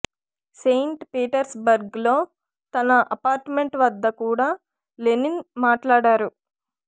Saint Petersburg లో తన apartment వద్ద కూడా లెనిన్ మాట్లాడారు